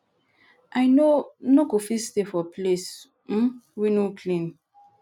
i no no go fit stay for place um wey no clean